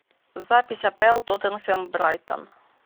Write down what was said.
запись апл тоттенхэм брайтон